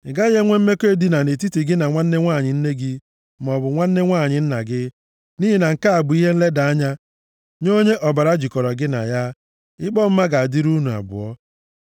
“ ‘Ị gaghị enwe mmekọ edina nʼetiti gị na nwanne nwanyị nne gị maọbụ nwanne nwanyị nna gị, nʼihi na nke a bụ ihe nleda anya nye onye ọbara jịkọrọ gị na ya. Ikpe ọmụma ga-adịrị unu abụọ.